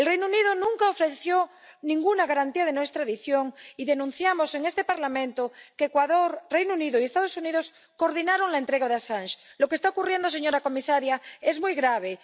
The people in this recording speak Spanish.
El Reino Unido nunca ofreció ninguna garantía de no extradición, y denunciamos en este Parlamento que Ecuador, el Reino Unido y los Estados Unidos coordinaron la entrega de Assange. Lo que está ocurriendo, señora comisaria, es muy grave.